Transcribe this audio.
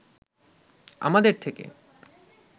আমাদের থেকে